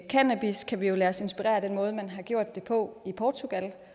cannabis kan vi jo lade os inspirere af den måde man har gjort det på i portugal